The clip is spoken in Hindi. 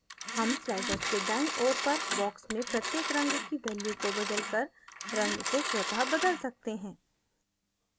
हम sliders के दाईं ओर पर boxes में प्रत्येक रंग की values को बदलकर रंग को स्वतः बदल सकते हैं